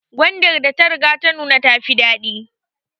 Gwadar da ta riga ta nuna ta fi dadi